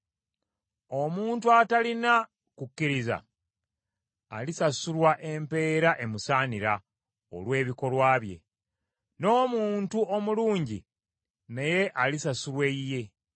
Omuntu atalina kukkiriza alisasulwa empeera emusaanira olw’ebikolwa bye, n’omuntu omulungi naye alisasulwa eyiye.